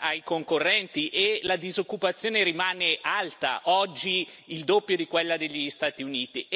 ai concorrenti, e la disoccupazione rimane alta oggi è il doppio di quella degli Stati Uniti.